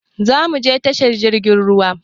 Zamuje tashar jirgin ruwa